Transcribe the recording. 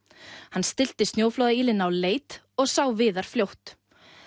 hann stillti snjóflóðaýlina á leit og sá Viðar fljótt